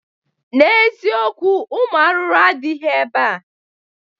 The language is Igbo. N'eziokwu, Ụmụ arụrụ adịghị ebea